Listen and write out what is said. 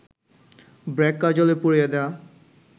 ব্র্যাক কার্যালয় পুড়িয়ে দেয়া